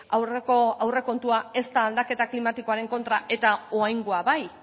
aurreko aurrekontua ez da aldaketa klimatikoaren kontra eta oraingoa bai